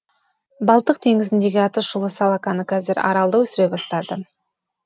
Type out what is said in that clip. балтық теңізіндегі аты шулы салаканы қазір аралда өсіре бастады